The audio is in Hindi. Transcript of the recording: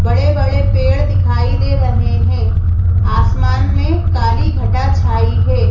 बड़े-बड़े पेड़ दिखाई दे रहे हैं आसमान में काली घटा छाई है।